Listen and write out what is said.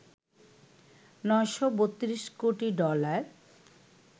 ৯৩২ কোটি ডলার